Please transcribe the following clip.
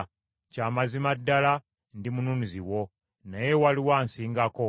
Kya mazima ddala ndi mununuzi wo, naye waliwo ansingako.